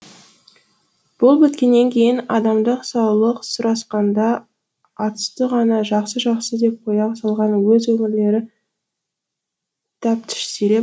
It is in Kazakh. бұл біткеннен кейін адамдық саулық сұрасқанда атүсті ғана жақсы жақсы деп қоя салған өз өмірлері тәптіштеліп